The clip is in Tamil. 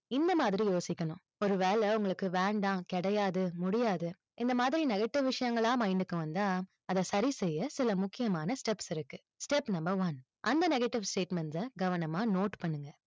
இந்த மாதிரி யோசிக்கணும். ஒரு வேளை உங்களுக்கு வேண்டாம், கிடையாது, முடியாது, இந்த மாதிரி negative விஷயங்களை mind க்கு வந்தா, அது சரி செய்ய சில முக்கியமான steps இருக்கு step number one அந்த negative statements அ கவனமா note பண்ணுங்க.